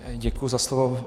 Děkuji za slovo.